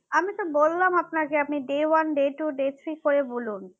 আমি তো বললাম আপনাকে আপনি day one day two day three করে বলুন